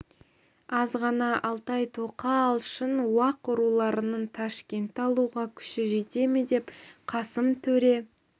аз ғана алтай тоқа алшын уақ руларының ташкентті алуға күші жете ме деп қасым төре